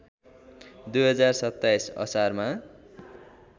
२०२७ असारमा